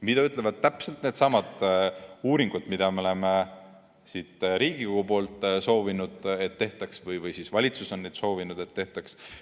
Mida ütlevad täpselt needsamad uuringud, mille tegemist me oleme siin Riigikogus soovinud, või siis valitsus on soovinud, et neid tehtaks?